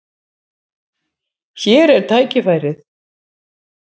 Hér er tækifærið.